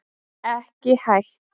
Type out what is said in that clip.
Ekki hætt